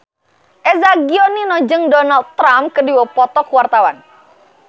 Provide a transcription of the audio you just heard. Eza Gionino jeung Donald Trump keur dipoto ku wartawan